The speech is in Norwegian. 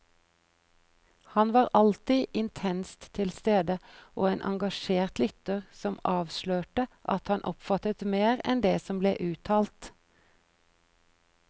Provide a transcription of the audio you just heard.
Han var alltid intenst tilstede, og en engasjert lytter som avslørte at han oppfattet mer enn det som ble uttalt.